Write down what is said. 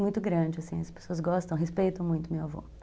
Muito grande, assim, as pessoas gostam, respeitam muito minha avó.